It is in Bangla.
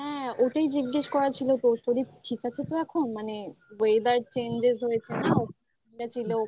হ্যাঁ ওটাই জিজ্ঞেস করা ছিল তোর শরীর ঠিক আছে তো এখন মানে weather changes হয়েছে মানে ঠান্ডা ছিল ওখান থাকে এসে